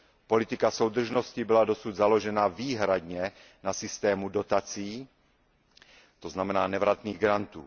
Politika soudržnosti byla dosud založená výhradně na systému dotací, to znamená nevratných grantů.